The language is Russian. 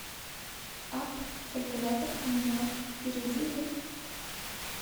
апп калькулятор коммуналка перейди в